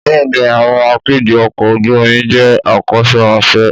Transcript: Bẹ́ẹ̀ni, àwọn akẹgbẹ́ ọkọ̀ ojú omi jẹ́ akọ́ṣẹ́mọṣẹ́.